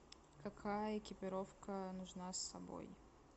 какая экипировка нужна с собой